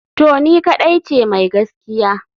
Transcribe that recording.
To ni kadai ce mai gaskiya?